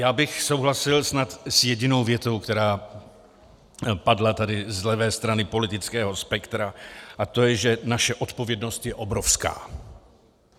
Já bych souhlasil snad s jedinou větou, která padla tady z levé strany politického spektra, a to je, že naše odpovědnost je obrovská.